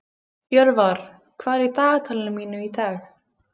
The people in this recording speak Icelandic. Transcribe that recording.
Jörvar, hvað er í dagatalinu mínu í dag?